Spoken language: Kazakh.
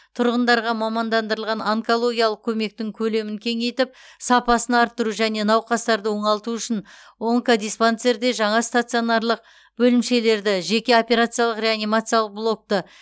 тұрғындарға мамандандырылған онкологиялық көмектің көлемін кеңейтіп сапасын арттыру және науқастарды оңалту үшін онкодиспансерде жаңа стационарлық бөлімшелерді жеке операциялық реанимациялық блокты